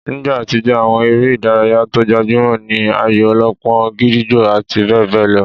Nígbà àtijó, àwọn eré ìdárayá tó gbajúmọ̀ ní ayò-ọlọ́pọ́n, gídígbò àti bẹ́ẹ̀ bẹ́ẹ̀ lọ